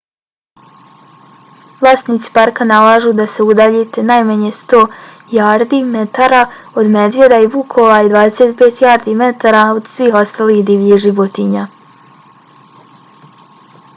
vlasnici parka nalažu da se udaljite najmanje 100 jardi/metara od medvjeda i vukova i 25 jardi/metara od svih ostalih divljih životinja!